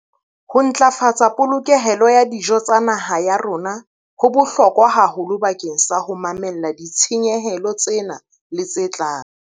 Ho ntlafatsa polokehelo ya dijo tsa naha ya rona ho bohlokwa haholo bakeng sa ho mamella ditshenyehelo tsena le tse tlang.